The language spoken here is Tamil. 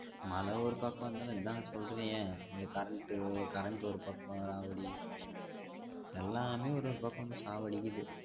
மழ ஒரு பக்கம் இருந்தாலும் இருந்தா சொல்றது என் இந்த் current current ஒரு பக்கம் ராவடி எல்லாமே ஒரு ஒரு பக்கம் வந்து சாவடிக்குது